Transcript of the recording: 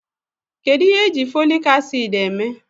Kedụ ihe èjí Fòlị́k acị́d èmé?